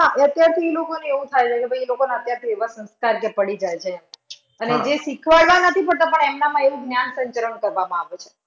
હા. અત્યારથી ઈ લોકા ને એવું થઈ જાય કે ભાઈ અત્યારથી એવા સંસ્કાર જે પડી જાય છે. અને જે શીખડાવામાં નથી પડતા એમનામાં એવું જ્ઞાન સંચરણ કરવામાં આવે છે.